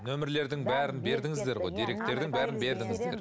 нөмірлердің бәрін бердіңіздер ғой деректердің бәрін бердіңіздер